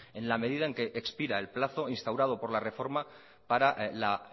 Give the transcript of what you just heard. en la medida en que expira el plazo instaurado por la reforma para la